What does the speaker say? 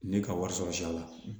Ne ka wari sɔrɔ sira la